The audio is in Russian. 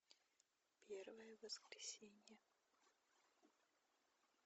первое воскресенье